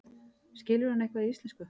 Skilur hann eitthvað í íslensku?